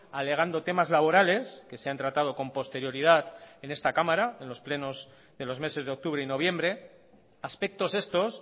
alegando temas laborales que se han tratado con posterioridad en esta cámara en los plenos de los meses de octubre y noviembre aspectos estos